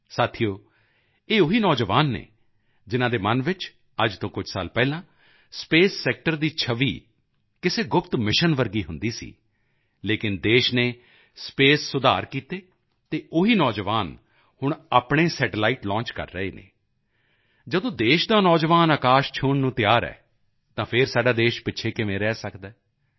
ਸਾਥੀਓ ਇਹ ਉਹੀ ਨੌਜਵਾਨ ਹਨ ਜਿਨ੍ਹਾਂ ਦੇ ਮਨ ਵਿੱਚ ਅੱਜ ਤੋਂ ਕੁਝ ਸਾਲ ਪਹਿਲਾਂ ਸਪੇਸ ਸੈਕਟਰ ਦੀ ਛਵੀ ਕਿਸੇ ਗੁਪਤ ਮਿਸ਼ਨ ਵਰਗੀ ਹੁੰਦੀ ਸੀ ਲੇਕਿਨ ਦੇਸ਼ ਨੇ ਸਪੇਸ ਸੁਧਾਰ ਕੀਤੇ ਅਤੇ ਉਹੀ ਨੌਜਵਾਨ ਹੁਣ ਆਪਣੇ ਸੈਟੇਲਾਈਟ ਲਾਂਚ ਕਰ ਰਹੇ ਹਨ ਜਦੋਂ ਦੇਸ਼ ਦਾ ਨੌਜਵਾਨ ਆਕਾਸ਼ ਛੂਹਣ ਨੂੰ ਤਿਆਰ ਹੈ ਤਾਂ ਫਿਰ ਸਾਡਾ ਦੇਸ਼ ਪਿੱਛੇ ਕਿਵੇਂ ਰਹਿ ਸਕਦਾ ਹੈ